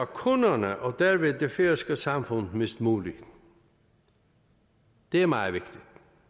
kunderne og dermed det færøske samfund mindst muligt det er meget vigtigt